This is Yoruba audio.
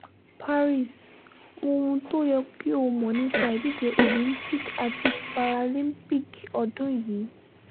paris wo ohun tó yẹ kí o mọ̀ nípa ìdíje olympics àti paralympics ọdún yìí